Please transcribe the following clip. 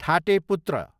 ठाटे पुत्र